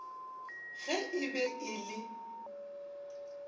ge e be e le